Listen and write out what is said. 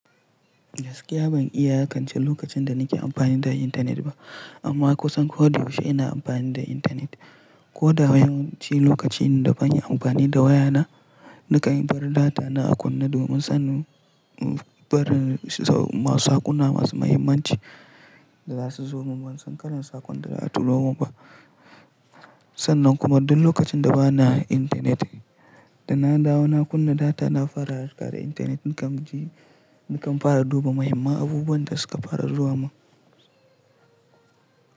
Gaskiya ban iya iyaƙance lokacin da nake amfani da intanet ba amma kusan koda yaushe ina amfani da intanet. Ko da yawanci lokaci da bani amfani da wayana nakan bar data na a kunne domin sanin barin s-sau masu hakuna masu muhimmanci da za su zo min. Ban son karin sakon da za a turo min ba. Sannan kuma duk lokacin da bana intanet da na dawo na kunna data na fara riƙa da intanet nakan ji nakan fara duba muhimman abubuwan da suka farar zuwa min.